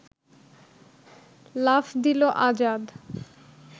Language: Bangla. লাফ দিল আজাদ